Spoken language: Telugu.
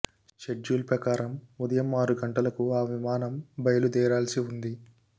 షెడ్యూల్ ప్రకారం ఉదయం ఆరు గంటలకు ఆ విమానం బయలుదేరాల్సి ఉంది